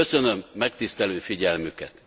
Köszönöm megtisztelő figyelmüket!